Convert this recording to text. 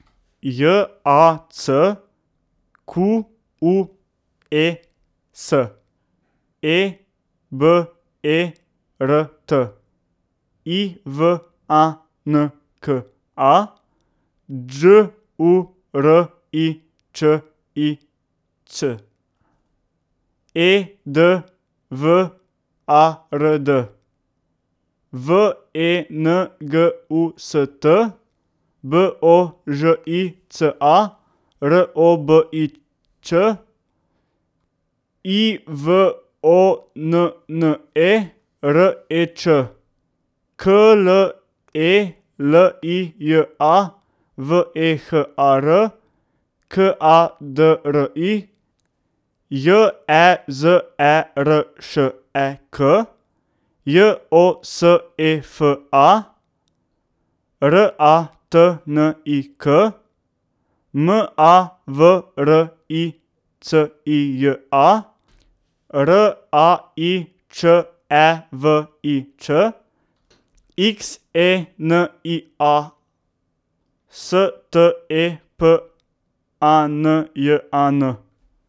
J A C Q U E S, E B E R T; I V A N K A, Đ U R I Č I Ć; E D W A R D, V E N G U S T; B O Ž I C A, R O B I Ć; I V O N N E, R E Č; K L E L I J A, V E H A R; K A D R I, J E Z E R Š E K; J O S E F A, R A T N I K; M A V R I C I J A, R A I Č E V I Ć; X E N I A, S T E P A N J A N.